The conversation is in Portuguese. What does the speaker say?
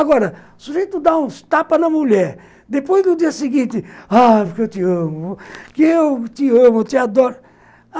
Agora, o sujeito dá uns tapas na mulher, depois do dia seguinte, ah, porque eu te amo, porque eu te amo, eu te adoro.